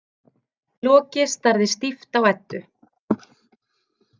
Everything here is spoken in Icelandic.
Loki starði stíft á Eddu.